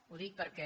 ho dic perquè